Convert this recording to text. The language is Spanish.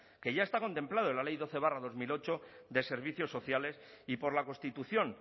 que ya está contemplado en la ley doce barra dos mil ocho de servicios sociales y por la constitución